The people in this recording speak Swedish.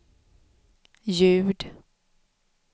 ljud